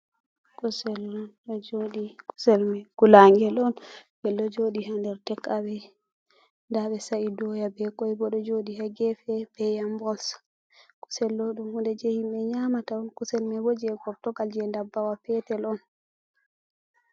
Kusel on ɗo joɗi, kusel mai gulagel on gel ɗo joɗi ha nder tak awe, nda ɓe sa'i doya be koy bo ɗo joɗi hegefe be yambos, kusel ɗo ɗum hude je himbe nyamata on, kusel mai bo je gortogal je dabbawa petel on.